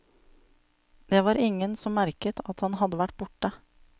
Det var ingen som merket at han hadde vært borte.